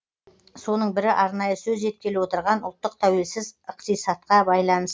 соның бірі арнайы сөз еткелі отырған ұлттық тәуелсіз ықтисатқа байланысты